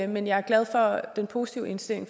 men jeg er glad for den positive indstilling